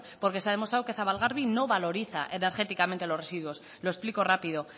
porque se ha demostrado que zabalgarbi no valoriza energéticamente los residuos lo explico rápido